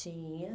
Tinha.